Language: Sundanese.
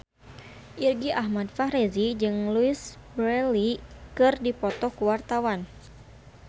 Irgi Ahmad Fahrezi jeung Louise Brealey keur dipoto ku wartawan